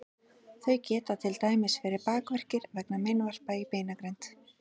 þau geta til dæmis verið bakverkir vegna meinvarpa í beinagrind